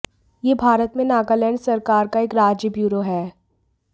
यह भारत में नागालैंड सरकार का एक राज्य ब्यूरो है